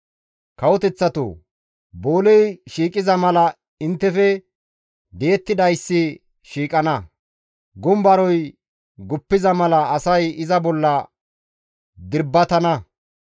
Kawoteththatoo! Booley shiiqiza mala inttefe di7ettidayssi shiiqana; gumbaroy guppiza mala asay iza bolla dirbbatana.